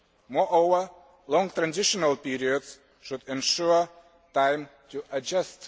Moreover, long transitional periods should ensure time to adjust.